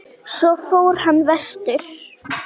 Svo fór hann vestur.